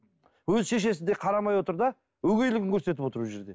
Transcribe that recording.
өз шешесі де қарамай отыр да өгейлігін көрсетіп отыр бұл жерде